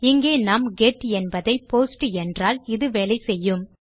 இங்கே நாம் கெட் என்பதை போஸ்ட் என்றால் இது வேலை செய்யும்